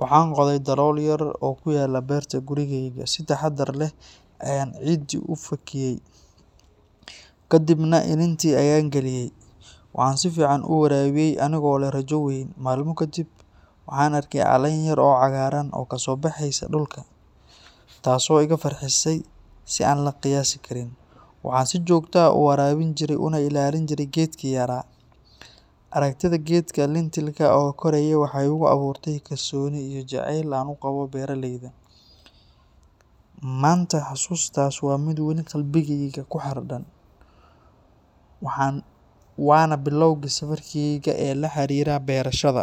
Waxaan qoday dalool yar oo ku yaalla beerta gurigayaga, si taxaddar leh ayaan ciidii u falkiyay, kadibna iniintii ayaan geliyay. Waxaan si fiican u waraabiyay anigoo leh rajo weyn. Maalmo kadib, waxaan arkay caleen yar oo cagaaran oo kasoo baxaysa dhulka, taasoo iga farxisay si aan la qiyaasi karin. Waxaan si joogto ah u waraabin jiray una ilaalin jiray geedkii yaraa. Aragtida geedka lentil-ka oo koraya waxay igu abuurtay kalsooni iyo jacayl aan u qabo beeraleyda. Maanta, xasuustaas waa mid weli qalbigayga ku xardhan, waana bilowgii safarkayga ee la xiriira beerashada.